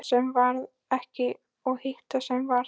Það sem varð ekki og hitt sem varð